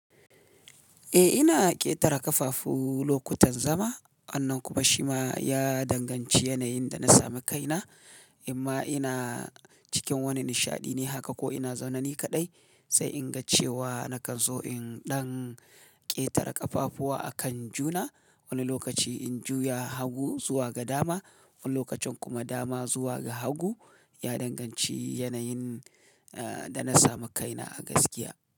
Eh ina ƙetare ƙafafu lokutan zama, wannan kuma shi ma ya danganci yanayin da na sami kaina, imma ina cikin wani nishaɗi ne haka ko ina zaune ni kaɗai, sai in ga cewa nakan so in ɗan ƙetare ƙafafuwa akan juna. Wani lokaci in juya hagu zuwa ga dama, wani lokacin kuma dama zuwa ga hagu ya danganci yanayin, eh da na samu kaina a gaskiya.